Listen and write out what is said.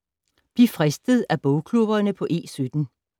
Bliv fristet af bogklubberne på E17